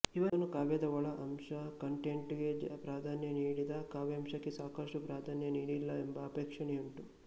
ಇವನು ಕಾವ್ಯದ ಒಳ ಅಂಶ ಕಂಟೆಂಟ್ಕ್ಕೆ ಪ್ರಾಧಾನ್ಯ ನೀಡಿದ ಕಾವ್ಯಾಂಶಕ್ಕೆ ಸಾಕಷ್ಟು ಪ್ರಾಧಾನ್ಯ ನೀಡಲಿಲ್ಲ ಎಂಬ ಆಕ್ಷೇಪಣೆಯುಂಟು